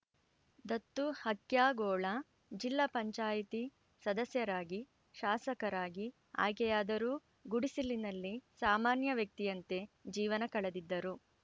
ದತ್ತು ಹಕ್ಯಾಗೋಳ ಜಿಲ್ಲಾ ಪಂಚಾಯತಿ ಸದಸ್ಯರಾಗಿ ಶಾಸಕರಾಗಿ ಆಯ್ಕೆಯಾದರೂ ಗುಡಿಸಲಿನಲ್ಲಿ ಸಾಮಾನ್ಯ ವ್ಯಕ್ತಿಯಂತೆ ಜೀವನ ಕಳೆದಿದ್ದರು